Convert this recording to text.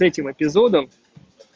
этим эпизодов